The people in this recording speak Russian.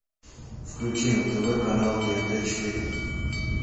включи на тв канал тнт четыре